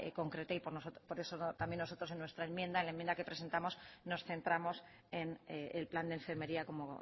concreta y por eso también nosotros en nuestra enmienda la enmienda que presentamos nos centramos en el plan de enfermería como